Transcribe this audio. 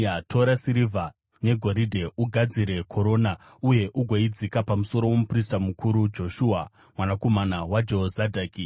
Tora sirivha negoridhe ugadzire korona, uye ugoidzika pamusoro womuprista mukuru, Joshua mwanakomana waJehozadhaki.